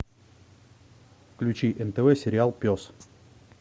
включи нтв сериал пес